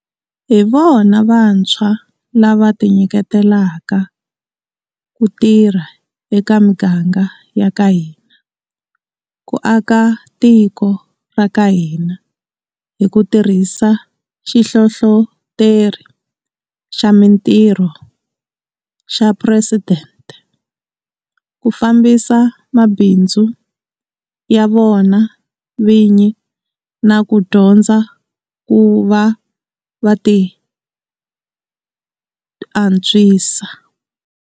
Hi vona vantshwa lava tinyiketelaka ku tirha eka miganga ya ka hina, ku aka tiko ra ka hina hi ku tirhisa Xihlohloteri xa Mitirho xa Phuresidente, ku fambisa mabindzu ya vona vini na ku dyondza ku va va tiantswisa.